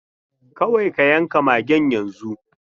Kawai ka yanka magen yanzu!